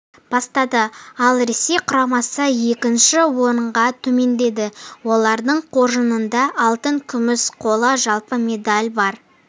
бастады ал ресей құрамасы екінші орынға төмендеді олардың қоржынында алтын күміс қола жалпы медаль бар